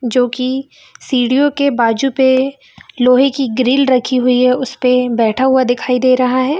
जोकि सीढ़ीओ के बाजु पे लोहे की ग्रिल रखी हुई है उस पे बैठा हुआ दिखाई दे रहा है।